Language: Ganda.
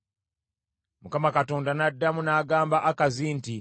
Mukama Katonda n’addamu n’agamba Akazi nti,